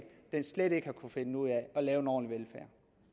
slet ikke har kunnet finde ud af